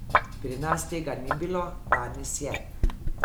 Pri nas tega ni bilo, danes je.